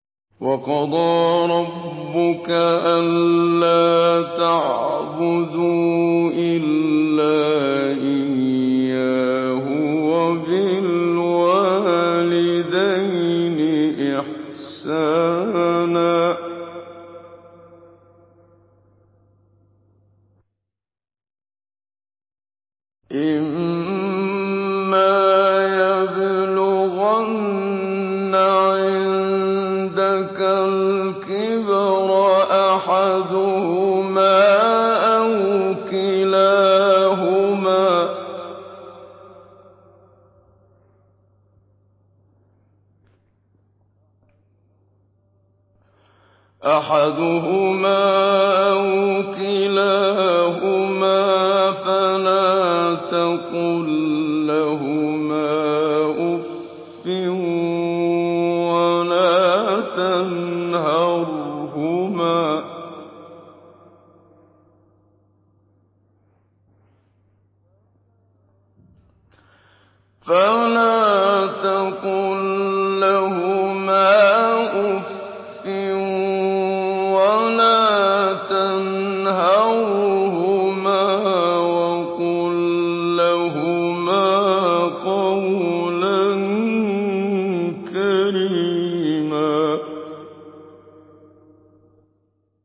۞ وَقَضَىٰ رَبُّكَ أَلَّا تَعْبُدُوا إِلَّا إِيَّاهُ وَبِالْوَالِدَيْنِ إِحْسَانًا ۚ إِمَّا يَبْلُغَنَّ عِندَكَ الْكِبَرَ أَحَدُهُمَا أَوْ كِلَاهُمَا فَلَا تَقُل لَّهُمَا أُفٍّ وَلَا تَنْهَرْهُمَا وَقُل لَّهُمَا قَوْلًا كَرِيمًا